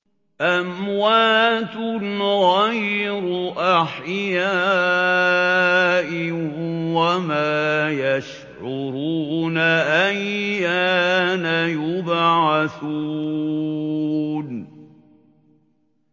أَمْوَاتٌ غَيْرُ أَحْيَاءٍ ۖ وَمَا يَشْعُرُونَ أَيَّانَ يُبْعَثُونَ